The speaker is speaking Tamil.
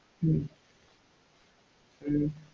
ஹம் ஹம்